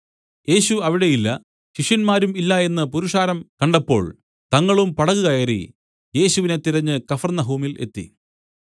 യേശു അവിടെ ഇല്ല ശിഷ്യന്മാരും ഇല്ല എന്നു പുരുഷാരം കണ്ടപ്പോൾ തങ്ങളും പടക് കയറി യേശുവിനെ തിരഞ്ഞു കഫർന്നഹൂമിൽ എത്തി